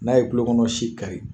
N'a ye tulo kɔnɔ si kari